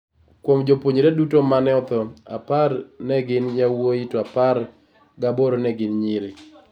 Kuom jopuonjre duto ma ne otho, apar ne gin yawuowi to apar ga aboro ne gin nyiri.